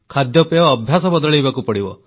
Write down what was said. ଖାଦ୍ୟପେୟ ଅଭ୍ୟାସ ବଦଳାଇବାକୁ ପଡ଼ିବ